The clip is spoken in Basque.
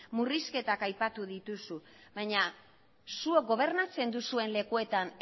murrizketak aipatu dituzu baina zuek gobernatzen duzuen lekuetan